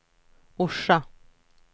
Orsa